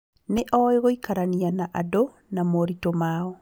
Nĩ oĩ gũikarania na andũ na moritũ mao